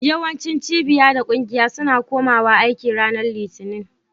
Yawancin cibiya da ƙungiya suna kumawa aiki ranar Litinin.